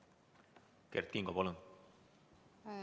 Kert Kingo, palun!